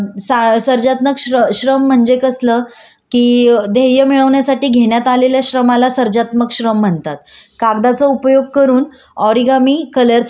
कागदाचा उपयोग करून ओरिगामी कलरचा वापर करणे काहीतरी नवीन लिहिणे भाषांतर करणे याला आपण सार्वजनिक श्रम म्हणू शकतो.